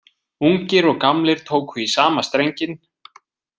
Ungir og gamlir tóku í sama strenginn,